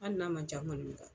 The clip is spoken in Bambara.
hali n'a ma ca